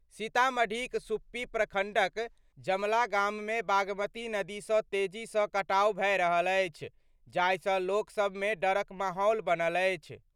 सीतामढ़ीक सुप्पी प्रखंडक जमला गाम मे बागमती नदी सं तेजी सं कटाव भए रहल अछि, जाहि सं लोकसभ मे डरक माहौल बनल अछि।